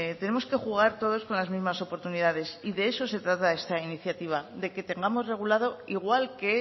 tenemos que jugar todos con las mismas oportunidades y de eso se trata en esta iniciativa de que tengamos regulado igual que